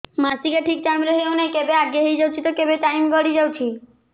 ମାସିକିଆ ଠିକ ଟାଇମ ରେ ହେଉନାହଁ କେବେ ଆଗେ ହେଇଯାଉଛି ତ କେବେ ଟାଇମ ଗଡି ଯାଉଛି